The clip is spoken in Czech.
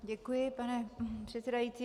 Děkuji pane předsedající.